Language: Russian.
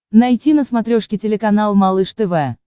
найти на смотрешке телеканал малыш тв